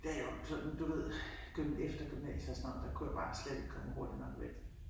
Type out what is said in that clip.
Det jo sådan du ved efter gymnasiet og sådan noget der kunne jeg bare slet ikke komme hurtigt nok væk